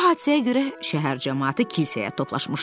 Bu hadisəyə görə şəhər camaatı kilsəyə toplaşmışdı.